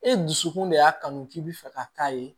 E dusukun de y'a kanu k'i bɛ fɛ ka k'a ye